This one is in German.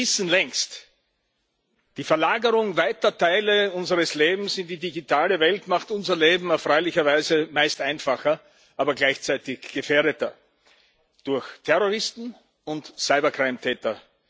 Wir wissen längst Die Verlagerung weiter Teile unseres Lebens in die digitale Welt macht unser Leben erfreulicherweise meist einfacher, aber gleichzeitig gefährdeter durch Terroristen und Täter.